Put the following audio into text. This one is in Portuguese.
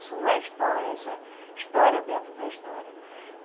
Isso não é história, isso é história dentro da história.